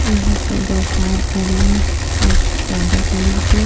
यहाँ पे दो कार खड़ी है एक सादा कलर की--